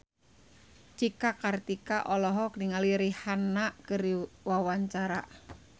Cika Kartika olohok ningali Rihanna keur diwawancara